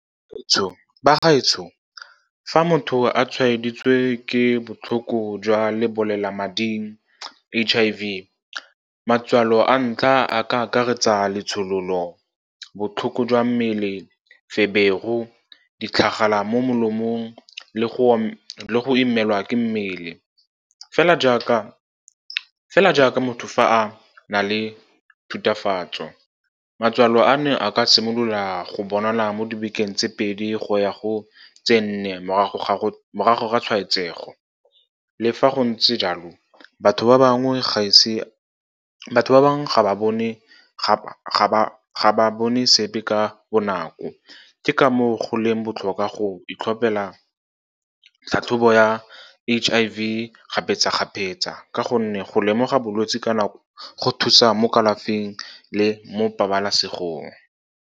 Bagaetsho, fa motho a tshwaeditswe ke botlhoko jwa lebolelamading, H_I_V, matswalo a ntlha a ka akaretsa letshololo, botlhoko jwa mmele, feberu, ditlhagala mo molomong, lego go imelwa ke mmele. Fela jaaka motho fa a na le thutafatso, matswalo ano a ka simolola go bonala mo dibekeng tse pedi go ya go tse nne morago ga tshwaetsego. Le fa go ntse jalo, batho ba bangwe ga ba bone sepe ka bonako. Ke ka moo go leng botlhokwa go itlhopela tlhatlhobo ya H_I_V kgapetsa-kgapetsa, ka gonne go lemoga bolwetse ka nako go thusa mo kalafing le mo pabalesegong.